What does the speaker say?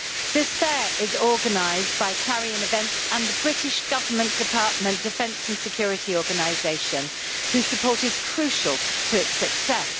This fair is organised by Clarion Events and the British Government department's Defence and Security Organisation, whose support is crucial to its success.